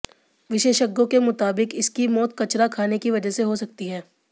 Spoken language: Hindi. विशेषज्ञों के मुताबिक इसकी मौत कचरा खाने की वजह से हो सकती है